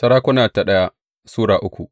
daya Sarakuna Sura uku